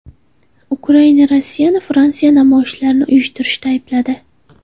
Ukraina Rossiyani Fransiyada namoyishlarni uyushtirishda aybladi.